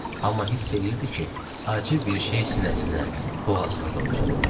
Amma hiss eləyirdi ki, acı bir şey sinəsinə, boğazına dolur.